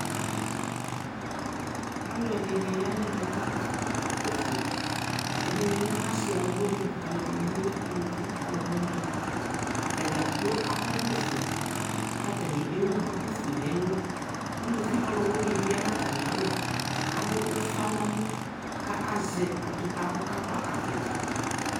Aluɛ di ni ya nɛ mɛ ka akɔ ɔvlɛ fʋeƐdini lɛ asi alu winiƐdini ni bi lɛ aluvi alu winiAtadza kplo akɔ vlɛ fue Katani ɛwu duku fue nɛ luUluvi ɔlu wini ya na ta mi alɔ kadu ufa nɛ mɔ zɛ atupa kɔ ka kpɔ avita